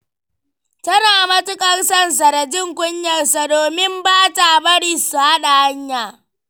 Tana matuƙar son sa da jin kunyarsa, domin ba ta bari su haɗa hanya.